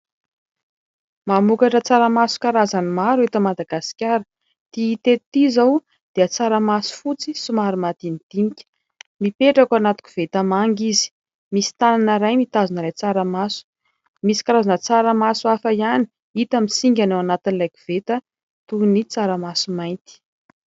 Mamokatra tsaramaso karazany maro eto Madagasikara. Ity hita eto ity izao dia tsaramaso fotsy somary madinidinika. Mipetraka ao anaty koveta manga izy. Misy tanana iray mitazona ilay tsaramaso. Misy karazana tsaramaso hafa ihany hita misingana ao anatin'ilay koveta toy ny tsaramaso mainty.